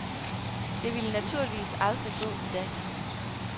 Det ville naturligvis aldrig gå i dag.